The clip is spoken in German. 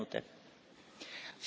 Frau Präsidentin!